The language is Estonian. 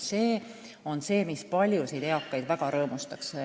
See on see, mis paljusid eakaid väga rõõmustaks.